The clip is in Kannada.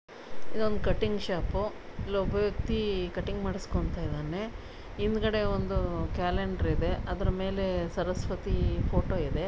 ಇದೊಂದು ಕಟಿಂಗ್ ಶಾಪು ಇಲೊಬ್ಬ ವ್ಯಕ್ತಿ ಕಟಿಂಗ್ ಮಾಡ್ಸ್ಕೊಂತಿದ್ದಾನೆ. ಹಿಂದಗಡೆ ಒಂದು ಕ್ಯಾಲೆಂಡರ್ ಇದೆ ಅದರಮೇಲೇ ಸರಸ್ವತಿ ಫೋಟೊ ಇದೆ.